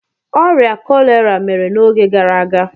Ọrịa kọlera mere n'oge gara aga.